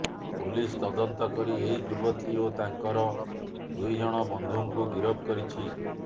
police ତଦନ୍ତ କରି ଏହି ଯୁବତୀ ଓ ତାଙ୍କର ଦୁଇ ଜଣ ବନ୍ଧୁକୁ ଗିରଫ କରିଛି